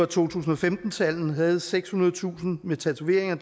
to tusind og femten tal havde sekshundredetusind med tatoveringer